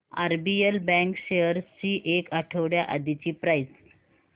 RBL bank shares ची एक आठवड्या आधीची प्राइस